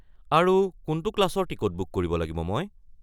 আৰু কোনটো ক্লাছৰ টিকট বুক কৰিব লাগিব মই?